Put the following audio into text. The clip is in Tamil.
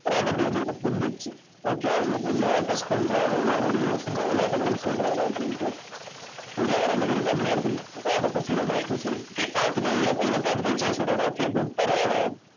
ராபர்ட்க்கு வந்து இப்ப புரிஞ்சிருச்சு okay இவரு நம்மள ஏதோ test பண்றாரு. இவரு வந்து சும்மா விளையாட்டுக்கு தான் சொல்றாரு அப்படின்னுட்டு இங்க ரெண்டு பேரும் கம்முன்னே இருக்கறாங்க ராபர்ட்டும் சரி மைக்கும் சரி சரி பார்த்துட்டு இதை பார்த்துட்டு ரிச் டாட் சொல்றாரு okay good பரவாயில்லை